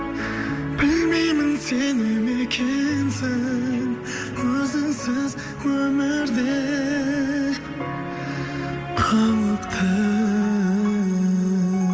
білмеймін сене ме екенсің өзіңсіз өмір де қауіпті